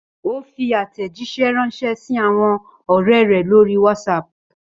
Ó fi àtẹ̀jíṣẹ́ ránṣẹ́ sí àwọn ọ̀rẹ́ rẹ̀ lórí WhatsApp.